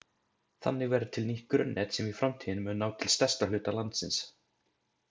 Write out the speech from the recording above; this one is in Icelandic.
Þannig verður til nýtt grunnnet sem í framtíðinni mun ná til stærsta hluta landsins.